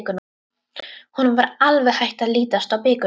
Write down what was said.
Honum var alveg hætt að lítast á blikuna.